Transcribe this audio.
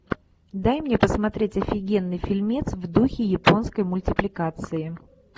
дай мне посмотреть офигенный фильмец в духе японской мультипликации